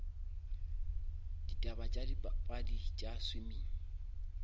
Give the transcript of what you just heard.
ditaba tša dipapadi tša swimming